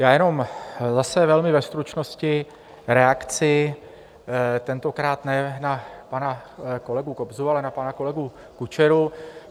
Já jenom zase velmi ve stručnosti reakci, tentokrát ne na pana kolegu Kobzu, ale na pana kolegu Kučeru.